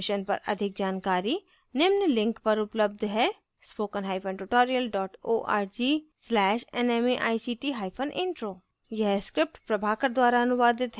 इस mission पर अधिक जानकारी निम्न लिंक पर उपलब्ध है